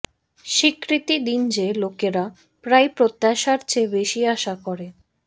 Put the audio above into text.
স্বীকৃতি দিন যে লোকেরা প্রায়ই প্রত্যাশার চেয়ে বেশি আশা করে